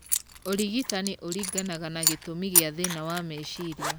Ũrigitani ũringanaga na gĩtũmi gĩa thĩna wa meciria.